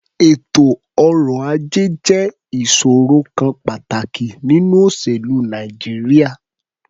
Ètò ọrọ̀-ajẹ́ jẹ́ ìṣòrò kan pàtàkì nínú òṣèlú Nàìjíríà.